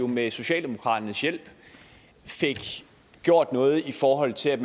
med socialdemokraternes hjælp gjort noget i forhold til at